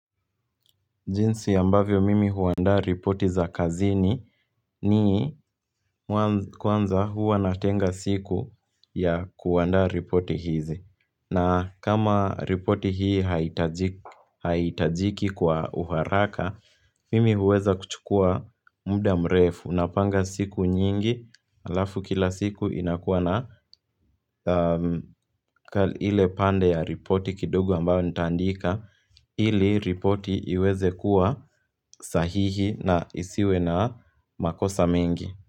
Jinsi ambavyo mimi huandaa ripoti za kazini ni mwanzo kwanza huwa natenga siku ya kuandaa ripoti hizi. Na kama ripoti hii haitajiki kwa uharaka, mimi huweza kuchukua muda mrefu, unapanga siku nyingi, alafu kila siku inakuwa na ile pande ya ripoti kidogo ambayo nitaandika. Ili ripoti iweze kuwa sahihi na isiwe na makosa mengi.